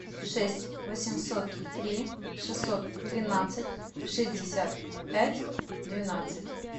шесть восемьсот три шестьсот тринадцать шестьдесят пять двенадцать